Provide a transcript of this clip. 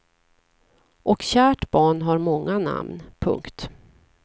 Och kärt barn har många namn. punkt